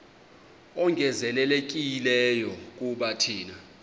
ongezelelekileyo kuba thina